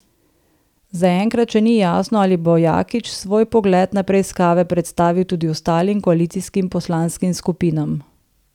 Zaenkrat še ni jasno, ali bo Jakič svoj pogled na preiskave predstavil tudi ostalim koalicijskim poslanskim skupinam.